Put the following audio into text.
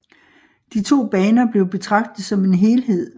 De to baner blev betragtet som en helhed